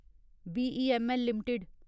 BEML limited